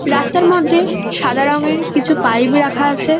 রাস্তার মধ্যে সাদা রঙের কিছু পাইপ রাখা আছে।